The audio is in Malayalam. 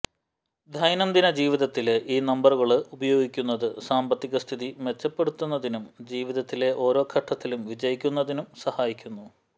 ദൈനംദിന ജീവിതത്തില് ഈ നമ്പറുകള് ഉപയോഗിക്കുന്നത് സാമ്പത്തിക സ്ഥിതി മെച്ചപ്പെടുത്തുന്നതിനും ജീവിതത്തിലെ ഓരോ ഘട്ടത്തിലും വിജയിക്കുന്നതിനും സഹായിക്കുന്നു